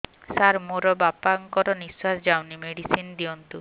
ସାର ମୋର ବାପା ଙ୍କର ନିଃଶ୍ବାସ ଯାଉନି ମେଡିସିନ ଦିଅନ୍ତୁ